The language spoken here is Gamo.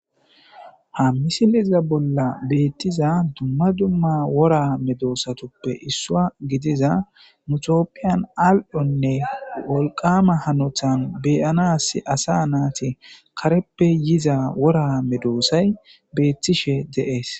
ha misileza bolla bettiza duma duma wora medosatuppe issuwa gidiza nu tophiyan al'one wolqama hanotan be'anasi asa nati kareppe yiza wora medosay betishe de'es.